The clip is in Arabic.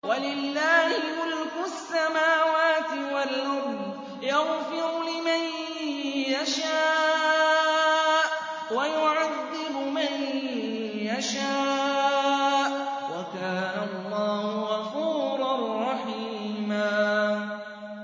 وَلِلَّهِ مُلْكُ السَّمَاوَاتِ وَالْأَرْضِ ۚ يَغْفِرُ لِمَن يَشَاءُ وَيُعَذِّبُ مَن يَشَاءُ ۚ وَكَانَ اللَّهُ غَفُورًا رَّحِيمًا